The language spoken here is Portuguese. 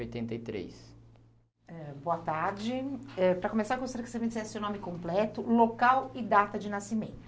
Oitenta e três. Eh, Boa tarde, para começar eu gostaria que você me dissesse o nome completo, local e data de nascimento.